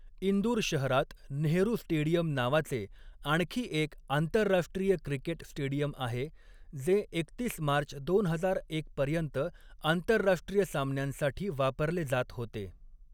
इंदूर शहरात नेहरू स्टेडियम नावाचे आणखी एक आंतरराष्ट्रीय क्रिकेट स्टेडियम आहे, जे एकतीस मार्च दोन हजार एक पर्यंत आंतरराष्ट्रीय सामन्यांसाठी वापरले जात होते.